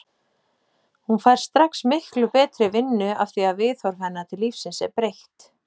Hún fær strax miklu betri vinnu afþvíað viðhorf hennar til lífsins er breytt.